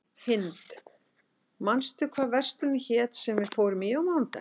Hind, manstu hvað verslunin hét sem við fórum í á mánudaginn?